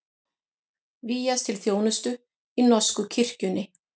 Vígjast til þjónustu í norsku kirkjunni